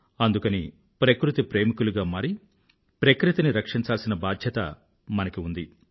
అందుకని ప్రకృతి ప్రేమికులుగా మారి ప్రకృతిని రక్షించాల్సిన బాధ్యత మనకి ఉంది